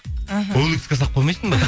іхі олекске салып қоймайсың ба